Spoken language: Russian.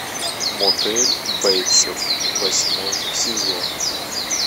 мотель бейтсов восьмой сезон